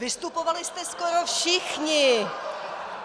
Vystupovali jste skoro všichni.